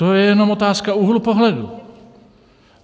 To je jenom otázka úhlu pohledu.